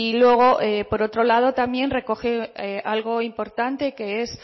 luego por otro lado también recoge algo importante que es